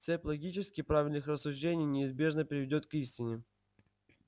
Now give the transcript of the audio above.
цепь логически правильных рассуждений неизбежно приведёт к истине